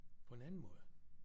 På en anden måde